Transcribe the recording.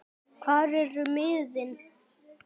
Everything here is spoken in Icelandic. hvar eru miðin?